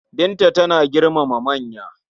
Binta tana girmama manya.